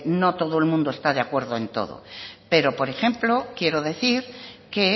no todo el mundo está de acuerdo en todo pero por ejemplo quiero decir que